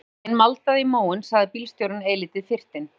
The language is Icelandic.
Þegar farþeginn maldaði í móinn sagði bílstjórinn eilítið fyrtinn